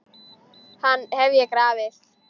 Hann hef ég grafið.